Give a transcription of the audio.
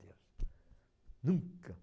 Nunca.